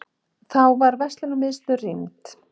Þá var verslunarmiðstöð rýmd